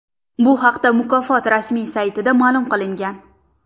Bu haqda mukofot rasmiy saytida ma’lum qilingan .